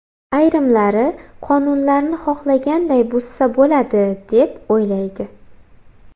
Ayrimlari qonunlarni xohlaganday buzsa bo‘ladi deb, o‘ylaydi.